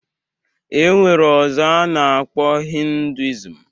E nwere ọzọ a na-akpọ hinduism